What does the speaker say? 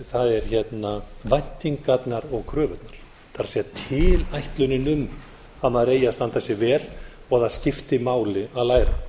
það er væntingarnar og kröfurnar það er tilætlunin um að maður eigi að standa sig vel og að það skipti máli að læra